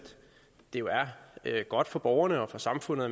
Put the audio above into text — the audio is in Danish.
det jo er godt for borgerne og for samfundet at